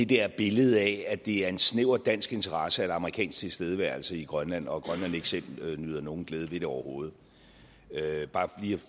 der billede af at det er en snæver dansk interesse er amerikansk tilstedeværelse i grønland og at grønland ikke selv nyder nogen glæde ved det overhovedet bare